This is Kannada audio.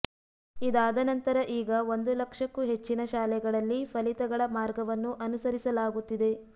ಇದಾದ ನಂತರ ಈಗ ಒಂದು ಲಕ್ಷಕ್ಕೂ ಹೆಚ್ಚಿನ ಶಾಲೆಗಳಲ್ಲಿ ಫಲಿತಗಳ ಮಾರ್ಗವನ್ನು ಅನುಸರಿಸಲಾಗುತ್ತಿದೆ